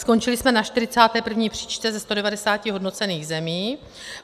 Skončili jsme na 41. příčce ze 190 hodnocených zemí.